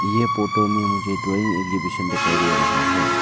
यह फोटो में मुझे ड्राइंग एग्जिबिशन दिखाई दे रहा है।